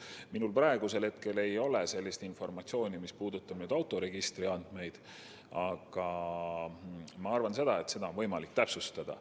Minul ei ole praegu sellist informatsiooni, mis puudutab autoregistri andmeid, aga ma arvan, et seda on võimalik täpsustada.